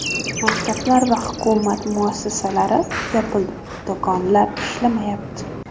Maktablar va hukumat muassasalari yopildi, do‘konlar ishlamayapti.